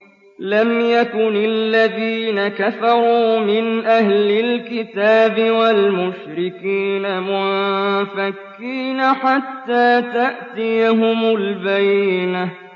لَمْ يَكُنِ الَّذِينَ كَفَرُوا مِنْ أَهْلِ الْكِتَابِ وَالْمُشْرِكِينَ مُنفَكِّينَ حَتَّىٰ تَأْتِيَهُمُ الْبَيِّنَةُ